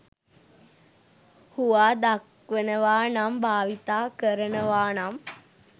හුවා දක්වනවා නම් භාවිතා කරනවානම්